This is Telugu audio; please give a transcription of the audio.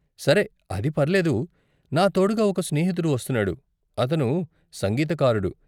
సరే, అది పర్లేదు. నా తోడుగా ఒక స్నేహితుడు వస్తున్నాడు, అతను సంగీతకారుడు.